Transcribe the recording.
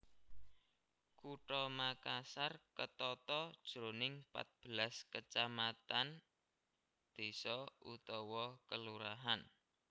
Kutha Makassar ketata jroning pat belas kecamatan désa/kelurahan